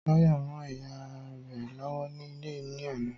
Táyọ̀ ń rán ìyá rẹ lọ́wọ́ ní ilé ní àná